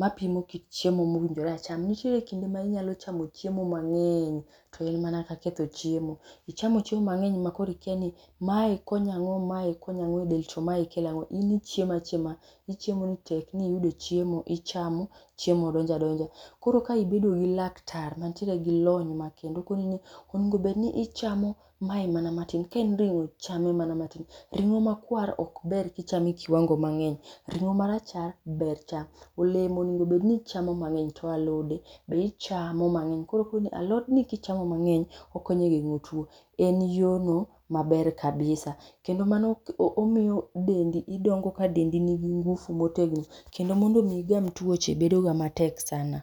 mapimo kit chiemo mowinjore acham. Nitiere kinde ma inyalo chamo chiemo mang'eny, to en mana ka ketho chiemo. Ichamo chiemo mang'eny ma ikia ni mae konyo ang'o mae konyo ang'o e del to mae kelo ang'o, in ichiemo achiema, ichiemo ni tekni iyudo chiemo ichamo chiemo donjo adonja. Koro ka ibedo gi laktar mantiere gi lony makende okoni ni onego bed ni ichamo mae mana matin, kaen ring'o chame mana matin. Ring'o makwar vok ber kichamo e kiwango mang'eny, ring'o marachar ber cham. Olemo onego bed ni ichamo mang'eny, alode be ichamo mang'eny alotni kichamo mang'eny okonyo e geng'o tuo. En yorno maber kabisa. Kendo mano omiyo dendi idongo ka dendi nigi ngufu motegno kendo mondo mi igam tuoche bedoga matek sana.